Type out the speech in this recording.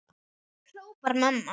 hrópar mamma.